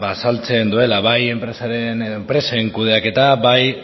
azaltzen duela bai enpresaren edo enpresen kudeaketa bai